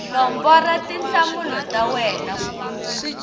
nombora tinhlamulo ta wena ku